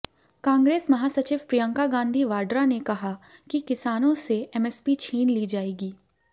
कांग्रेस महासचिव प्रियंका गांधी वाड्रा ने कहा कि किसानों से एमएसपी छीन ली जाएगी